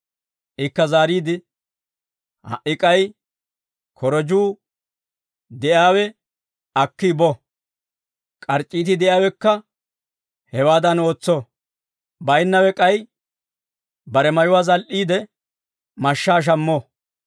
Ikka zaariide, «Ha"i k'ay korojjuu de'iyaawe akki bo; k'arc'c'iiti de'iyaawekka hewaadan ootso; baynnawe k'ay bare mayuwaa zal"iide mashshaa shammo.